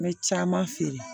N bɛ caman feere